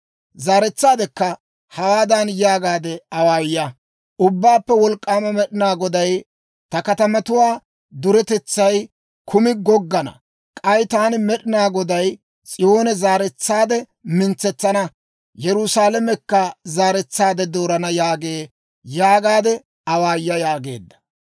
«Zaaretsaadekka hawaadan yaagaade awaaya; ‹Ubbaappe Wolk'k'aama Med'inaa Goday ta katamatuwaa duretetsay kumi goggana k'ay taani Med'inaa Goday S'iyoone zaaretsaade mintsetsana; Yerusaalamekka zaaretsaade doorana yaagee› yaagaade awaaya» yaageedda.